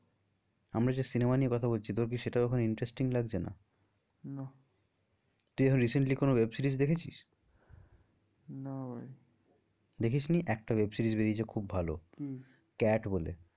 আমরা যে cinema নিয়ে কথা বলছি তোর কি সেটা ওখানে interesting লাগছে না? না তুই এখন recently কোনো web series দেখেছিস? না ভাই দেখিসনি একটা web series বেরিয়েছে খুব ভালো। কি? cat বলে